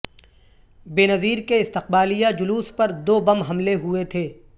بینظیر کے استقبالیہ جلوس پر دو بم حملے ہوئے تھے